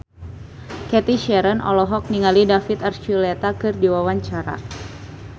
Cathy Sharon olohok ningali David Archuletta keur diwawancara